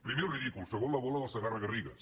primer el ridícul segon la bola del segarra garrigues